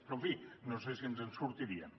però en fi no sé si ens en sortiríem